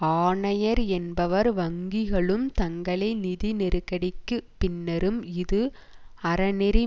ஆணையர் என்பவர் வங்கிகளும் தங்களை நிதி நெருக்கடிக்கு பின்னரும் இது அறநெறி